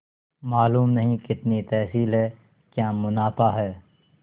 मालूम नहीं कितनी तहसील है क्या मुनाफा है